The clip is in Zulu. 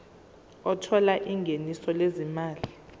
othola ingeniso lezimali